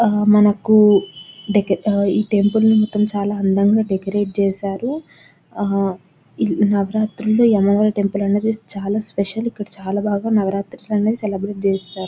ఆ మనకు డెక-ఈ టెంపుల్ మొత్తం చాలా అందంగా డెకరేట్ చేసారు ఆ నవరాత్రుల్లో ఈ అమ్మవారి టెంపుల్ అన్నది చాలా స్పెసల్ ఇక్కడ చాలా బాగా నవరాత్రులనేది సెలబ్రేట్ చేస్తారు .